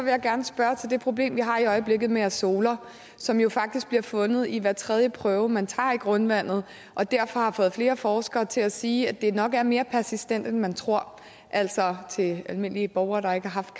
jeg gerne spørge til det problem som vi har i øjeblikket med azoler som jo faktisk bliver fundet i hver tredje prøve man tager i grundvandet og derfor har fået flere forskere til at sige at det nok er mere persistent end man tror altså til almindelige borgere der ikke har haft